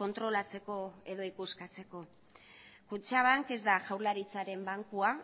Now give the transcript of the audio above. kontrolatzeko edo ikuskatzeko kutxabank ez da jaurlaritzaren bankua